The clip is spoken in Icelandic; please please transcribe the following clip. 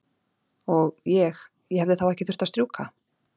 Og. ég. ég hefði þá ekki þurft að strjúka?